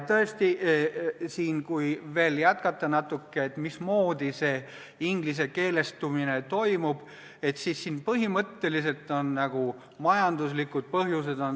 Tõesti, kui veel natuke jätkata sel teemal, mismoodi see ingliskeelestumine toimub, siis põhimõtteliselt on kõige all majanduslikud põhjused.